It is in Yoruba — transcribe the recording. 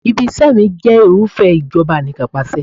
Ibi-iṣẹ́ mi jẹ́ irúfẹ́ ìjọba Anìkanpàṣẹ.